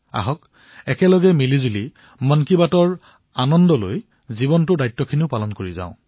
আহক একে লগে মন কী বাতৰ আনন্দ গ্ৰহণ কৰি জীৱনৰ দায়িত্ব পালন কৰো